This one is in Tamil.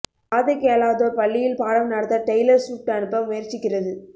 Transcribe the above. காது கேளாதோர் பள்ளியில் பாடம் நடத்த டெய்லர் ஸ்விஃப்ட் அனுப்ப முயற்சிக்கிறது